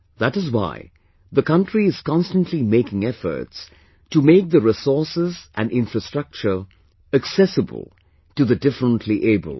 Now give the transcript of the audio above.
That is why, the country is constantly making efforts to make the resources and infrastructure accessible to the differentlyabled